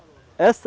Essa